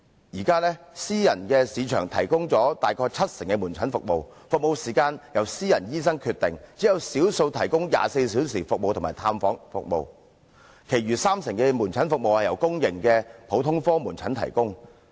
現在私人市場提供大約七成的門診服務，服務時間由私人醫生決定，只有少數提供24小時服務及探訪服務。其餘三成的門診服務由公營普通科門診提供。